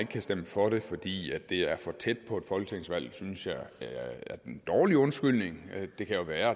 kan stemme for det fordi det er for tæt på et folketingsvalg synes jeg er en dårlig undskyldning det kan jo være